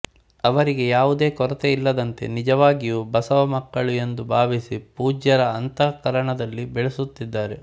ಅವರಿಗೆ ಯಾವುದೇ ಕೊರತೆ ಇಲ್ಲದಂತೆ ನಿಜವಾಗಿಯೂ ಬಸವ ಮಕ್ಕಳು ಎಂದು ಭಾವಿಸಿ ಪೂಜ್ಯರ ಅಂತಃಕರಣದಲ್ಲಿ ಬೆಳೆಸುತ್ತಿದ್ದಾರೆ